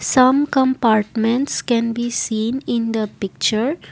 some compartments can be seen in the picture.